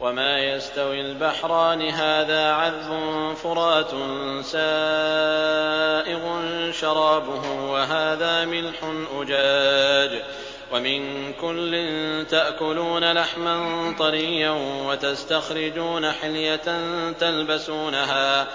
وَمَا يَسْتَوِي الْبَحْرَانِ هَٰذَا عَذْبٌ فُرَاتٌ سَائِغٌ شَرَابُهُ وَهَٰذَا مِلْحٌ أُجَاجٌ ۖ وَمِن كُلٍّ تَأْكُلُونَ لَحْمًا طَرِيًّا وَتَسْتَخْرِجُونَ حِلْيَةً تَلْبَسُونَهَا ۖ